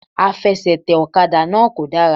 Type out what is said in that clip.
Àfesètè òkadà náà kò dára